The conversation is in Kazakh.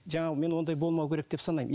жаңағы мен ондай болмауы керек деп санаймын